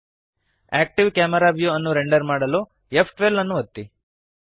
active camera view ಅನ್ನು render ಮಾಡಲು ಫ್12 ಅನ್ನು ಒತ್ತಿರಿ